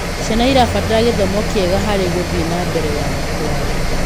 Ciana irabatara githomo kiega harĩ guthie nambere kwao